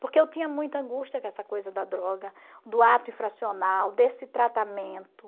Porque eu tinha muita angústia com essa coisa da droga, do ato infracional, desse tratamento.